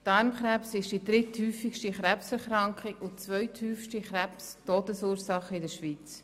Darmkrebs ist die dritthäufigste Krebserkrankung und die zweithäufigste Krebs-Todesursache in der Schweiz.